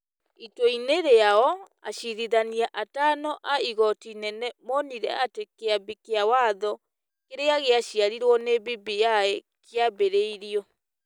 Itua-inĩ rĩao, acirithania atano a Igooti Inene monire atĩ Kĩambi kĩa Watho kĩrĩa gĩaciarĩrwo nĩ BBI kĩambĩrĩirio ,